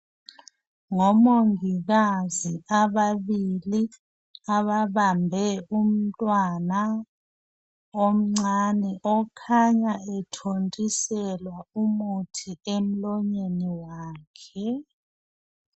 Ngomongikazi ababili ababambe umntwana omncane okhanya ethontiselwa umuthi emlonyeni wakhe.